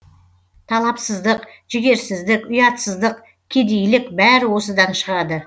талапсыздық жігерсіздік ұятсыздық кедейлік бәрі осыдан шығады